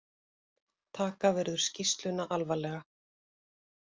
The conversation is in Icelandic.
Taka verður skýrsluna alvarlega